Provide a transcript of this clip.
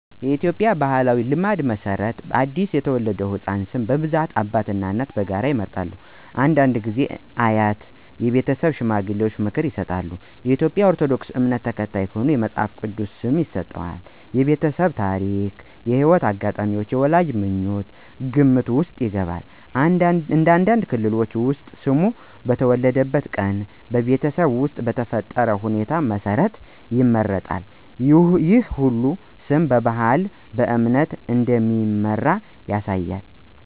በኢትዮጵያ ባሕላዊ ልማድ መሠረት ለአዲስ የተወለደ ሕፃን ስም በብዛት አባትና እናት በጋራ ይመርጣሉ። አንዳንድ ጊዜ አያትና የቤተሰብ ሽማግሌዎች ምክር ይሰጣሉ። በኦርቶዶክስ ባህል ካህኑ የቅዱሳን ስም ሊሰጥ ይችላል። ስም ለመምረጥ መጽሐፍ ቅዱስ፣ የቀኑ ቅዱስ፣ የቤተሰብ ታሪክ፣ የሕይወት አጋጣሚ እና የወላጆች ምኞት ከግምት ውስጥ ይገባሉ። አንዳንድ ክልሎች ውስጥ ስሙ በተወለደበት ቀን እና በቤተሰብ ውስጥ በተፈጠረ ሁኔታ መሠረት ይመረጣል። ይህ ሁሉ ስም በባህልና በእምነት እንደሚመራ ያሳያል።